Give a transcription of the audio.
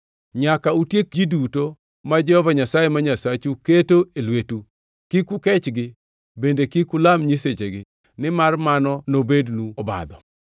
Nyaka utiek ji duto ma Jehova Nyasaye ma Nyasachu keto e lwetu. Kik ukechgi bende kik ulam nyisechegi, nimar mano nobednu obadho.